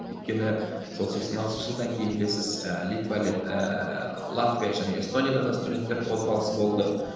өйткені сол сексен алтыншы жылдан кейін білесіз ііі литва ііі латвия және эстонияда да студенттер қозғалысы болды